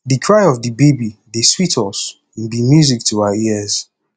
di cry of di baby dey sweet us im be music to our ears